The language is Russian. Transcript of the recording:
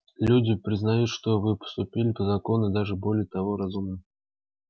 люди признают что вы поступили по закону и даже более того разумно